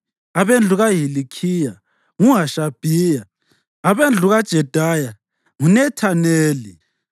abendlu kaHilikhiya, nguHashabhiya; abendlu kaJedaya nguNethaneli.